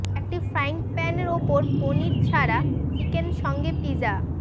একটি frying pan উপর পনির ছাড়া চিকেন সঙ্গে পিজা